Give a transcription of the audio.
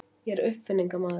Ég er uppfinningamaður.